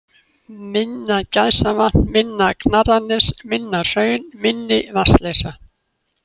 Minna-Gæsavatn, Minna-Knarrarnes, Minnahraun, Minni-Vatnsleysa